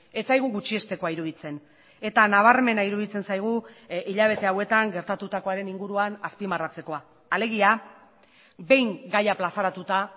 ez zaigu gutxiestekoa iruditzen eta nabarmena iruditzen zaigu hilabete hauetan gertatutakoaren inguruan azpimarratzekoa alegia behin gaia plazaratuta